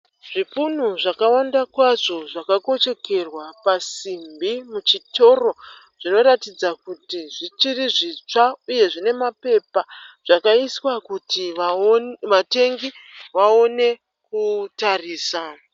Zvipunu zvakawanda kwazvo zvakakochekerwa pasimbi muchitoro. Zvinoratidza kuti zvichiri zvitsva uye zvine mapepa , zvakaiswa kuti vatengi vaone kutarisa.